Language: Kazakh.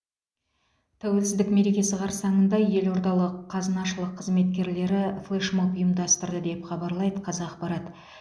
тәуелсіздік мерекесі қарсаңында елордалық қазынашылық қызметкерлері флешмоб ұйымдастырды деп хабарлайды қазақпарат